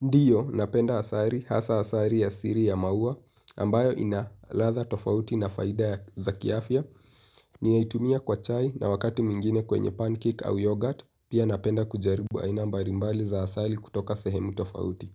Ndiyo, napenda asali, hasa asali asili ya maua, ambayo ina ladha tofauti na faida za kiafya. Ninaitumia kwa chai na wakati mwingine kwenye pancake au yogurt, pia napenda kujaribu aina mbali mbali za asali kutoka sehemu tofauti.